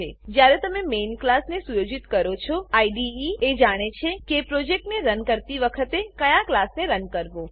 જ્યારે તમે main class main class ને સુયોજિત કરો છો આઈડીઈ એ જાણે છે કે પ્રોજેક્ટ રન કરતી વખતે કયા ક્લાસને રન કરવો